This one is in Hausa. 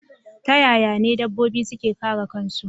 Ta yaya n edabbobi suke kare kansu